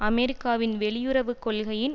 அமெரிக்காவின் வெளியுறவு கொள்கையின்